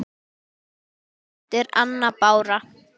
Komdu út!